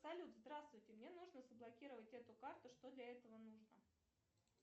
салют здравствуйте мне нужно заблокировать эту карту что для этого нужно